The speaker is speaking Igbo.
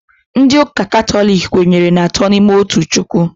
Ndị ụka katọlik kwenyere n'atọ n'ime otu Chukwu